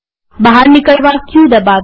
બહાર નીકળવા ક દબાવીએ